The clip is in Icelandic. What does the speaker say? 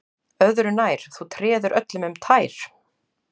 Öðru nær, þú treður öllum um tær